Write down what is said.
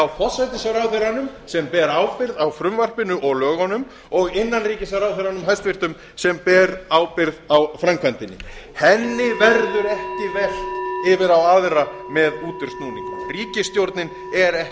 forsætisráðherranum sem ber ábyrgð á frumvarpinu og lögunum og hæstvirtur innanríkisráðherra sem ber ábyrgð á framkvæmdinni henni verður ekki velt yfir á aðra með útúrsnúningum ríkisstjórnin er ekki